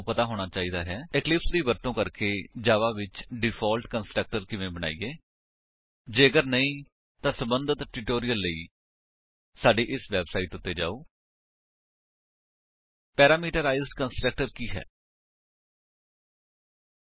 HTTP ਡਬਲਯੂਡਬਲਯੂਡਬਲਯੂਡਬਲਯੂਡਬਲਯੂਡਬਲਯੂਡਬਲਯੂਡਬਲਯੂਡਬਲਯੂਡਬਲਯੂਡਬਲਯੂਡਬਲਯੂਡਬਲਯੂਡਬਲਯੂਡਬਲਯੂਡਬਲਯੂਡਬਲਯੂਡਬਲਯੂਡਬਲਯੂਡਬਲਯੂਡਬਲਯੂਡਬਲਯੂਡਬਲਯੂਡਬਲਯੂਡਬਲਯੂਡਬਲਯੂਡਬਲਯੂਡਬਲਯੂਡਬਲਯੂਡਬਲਯੂਡਬਲਯੂਡਬਲਯੂਡਬਲਯੂਡਬਲਯੂਡਬਲਯੂਡਬਲਯੂਡਬਲਯੂਡਬਲਯੂਡਬਲਯੂਡਬਲਯੂ